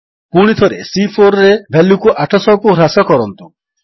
ପୁଣିଥରେ C4ରେ ଭାଲ୍ୟୁକୁ 800କୁ ହ୍ରାସ କରନ୍ତୁ